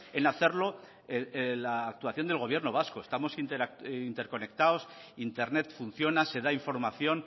en hacerlo en la actuación del gobierno vasco estamos interconectados internet funciona se da información